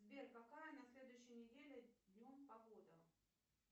сбер какая на следующей неделе днем погода